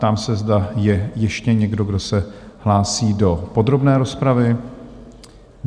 Ptám se, zda je ještě někdo, kdo se hlásí do podrobné rozpravy?